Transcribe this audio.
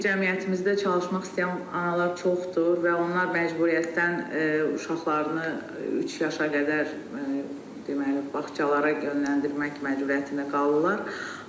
cəmiyyətimizdə çalışmaq istəyən analar çoxdur və onlar məcburiyyətdən uşaqlarını üç yaşına qədər deməli, bağçalara yönləndirmək məcburiyyətində qalırlar.